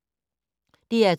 DR2